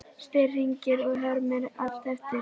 spyr Hringur og hermir allt eftir.